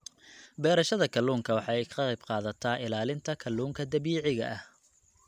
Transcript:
Beerashada kalluunka waxa ay ka qayb qaadataa ilaalinta kalluunka dabiiciga ah.